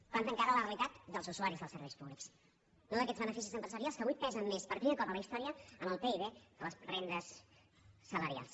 planten cara a la realitat dels usuaris dels serveis públics no d’aquests beneficis empresarials que avui pesen més per primer cop a la història en el pib que les rendes salarials